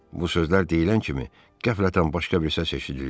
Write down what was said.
Bu sözlər deyilən kimi qəflətən başqa bir səs eşidildi.